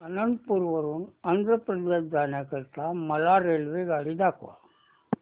अनंतपुर वरून आंध्र प्रदेश जाण्या करीता मला रेल्वेगाडी दाखवा